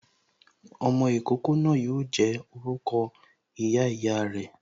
Ọmọ ìkókó náà yo jẹ́ orúkọ ìyá ìyá re